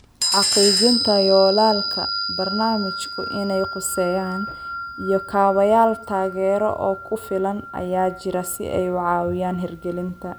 Xaqiijinta yoolalka barnaamijku inay khuseeyaan, iyo kaabayaal taageero oo ku filan ayaa jira si ay u caawiyaan hirgelinta.